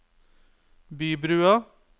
Bybrua